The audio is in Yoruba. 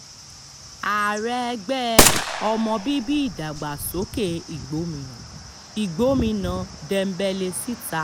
ààrẹ ẹgbẹ́ ọmọ bíbí ìdàgbàsókè ìgbòmínà igbómìnà dembelesítà